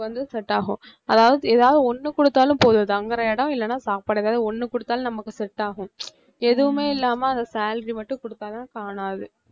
வந்து set ஆகும் அதாவது ஏதாவது ஒண்ணு குடுத்தாலும் போதும் தங்குற இடம் இல்லன்னா சாப்பாடு ஏதாவது ஒண்ணு கொடுத்தாலும் நம்மளுக்கு set ஆகும் எதுவுமே இல்லாம அந்த salary மட்டும் குடுத்தாதான் காணாது